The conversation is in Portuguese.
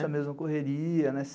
Essa mesma correria, né?